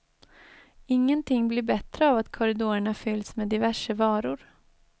Ingenting blir bättre av att korridorerna fyllts med diverse varor.